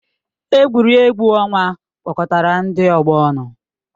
Egwuregwu ọnwa kpọkọtara ndị ọgbọ ọnụ.